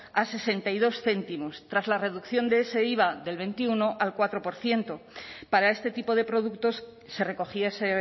a sesenta y dos céntimos tras la reducción de ese iva del veintiuno al cuatro por ciento para este tipo de productos se recogiese